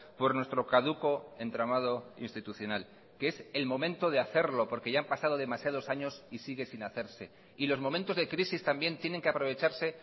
por nuestro caduco entramado institucional que es el momento de hacerlo porque ya han pasado demasiados años y sigue sin hacerse y los momentos de crisis también tienen que aprovecharse